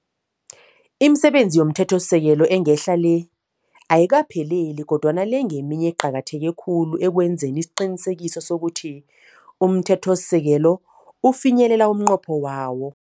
Imisebenzi yomthethosisekelo engehla le, ayikaphelele kodwana le ngeminye eqakatheke khulu ekwenzeni isiqiniseko sokuthi umthethosisekelo ufinyelela umnqopho wawo.